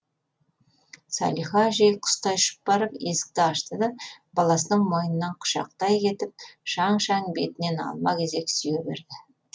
салиха әжей құстай ұшып барып есікті ашты да баласының мойнынан құшақтай кетіп шаң шаң бетінен алма кезек сүйе берді